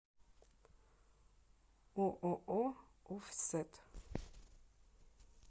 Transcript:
ооо офсет